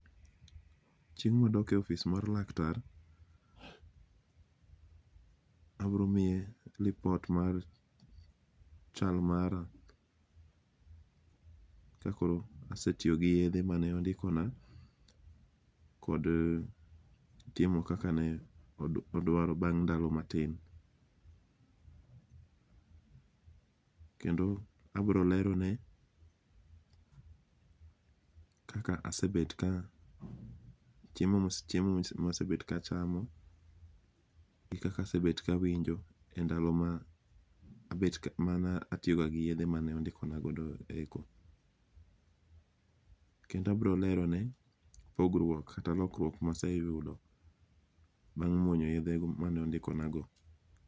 Chieng' madokie office mar laktar, abromiye report mar chal mara, ka koro asetiyo gi yethe mane ondikona kod timo kakane odwaro bang' ndalo matin kend abro lerone kaka asebet ka chiem mosebet kachamo, gi kaka asebet kawinjo e ndalo ma mana atiyoga gi yethe mane andikona godo eko, kendo abro lerone pogruok kata lokruok maseyudo bang' muonyo yethgo mane ondikonago.